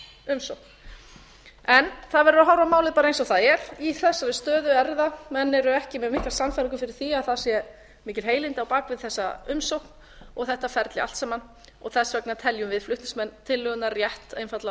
umsókn það verður að horfa á málið bara eins og það er í þessari stöðu menn eru ekki með mikla sannfæringu fyrir því að það séu mikil heilindi á bak við þessa umsókn og þetta ferli allt saman þess vegna teljum við flutningsmenn tillögunnar rétt einfaldlega að